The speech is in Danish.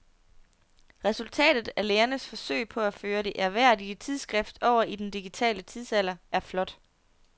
Resultatet af lægernes forsøg på at føre det ærværdige tidsskrift over i den digitale tidsalder er flot.